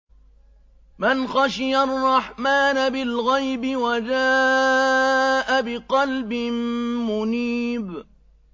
مَّنْ خَشِيَ الرَّحْمَٰنَ بِالْغَيْبِ وَجَاءَ بِقَلْبٍ مُّنِيبٍ